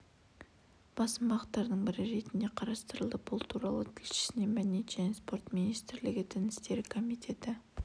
басым бағыттардың бірі ретінде қарастырылды бұл туралы тілшісіне мәдениет және спорт министрлігі дін істері комитеті